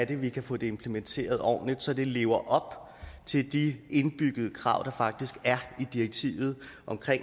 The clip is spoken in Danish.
vi kan få det implementeret ordentligt så det lever op til de indbyggede krav der faktisk er i direktivet om